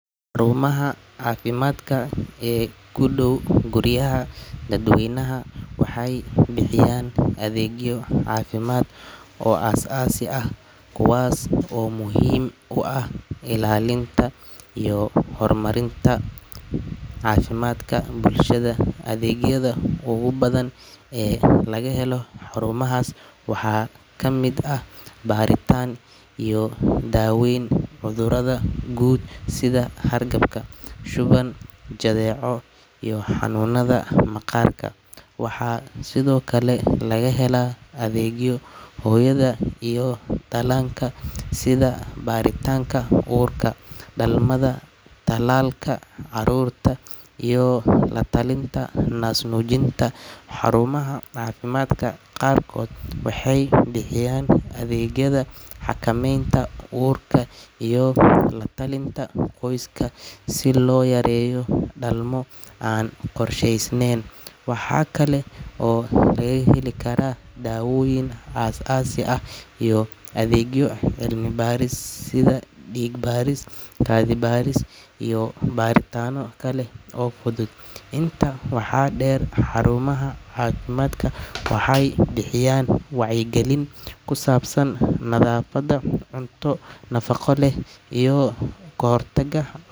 Xurumaha cafimadka ee kudow guriga dad weynaha waxay bixiyan adegyo cafimad oo as asii ah, kuwas oo muhim kuah ilalinta iyo hormarinta cafimafka bulshada, adegyada ogu badhan ee lagahelo xarumahas waxa kamid ah baritan iyo daweyn cudurada gud sidha hergebka, shuwan, jadeco iyo xanunada maqarka waxa sidiokale lagahela adegyo hoyada iyo dalanka sidha baritanka urka, dalmada, talalka carurta iyo latalinta nas nujinta, xarumaha cafimadka qarkod waxay bixiyan adegyada xakameynta urka iyo latalinta qoska sii loyareyo dalmo an qorshesnen, waxa kale oo laga heli kara dawoyin as asi ah iyo adegyo cilmi Paris sidha dig baris, kadi baris, iyo baritano kale oo fudud inta waxa der xarumaha cafimadka waxay bixiyan wacyo gelin kusabsan nadafada cuntada nafaqo leh iyo kahortaga.